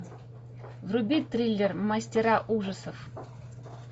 вруби триллер мастера ужасов